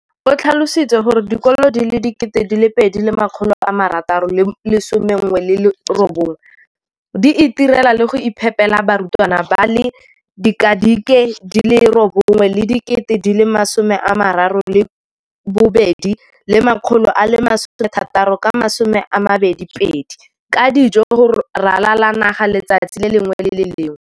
o tlhalositse gore dikolo di le 20 619 di itirela le go iphepela barutwana ba le 9 032 622 ka dijo go ralala naga letsatsi le lengwe le le lengwe.